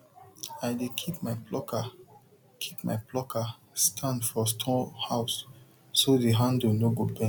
i dey keep my plucker keep my plucker stand for storehouse so the handle no go bend